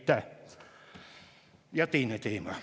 Ja teine teema.